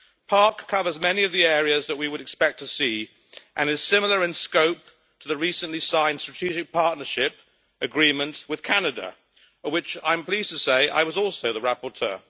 PARC covers many of the areas that we would expect to see, and is similar in scope to the recently signed Strategic Partnership Agreement with Canada, for which I am pleased to say I was also the rapporteur.